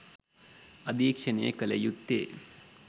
අධීක්ෂණය කලයුත්තේ